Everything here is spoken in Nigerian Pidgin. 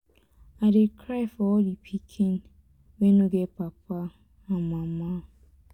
i dey cry for all the pikin wey no get papa and mama.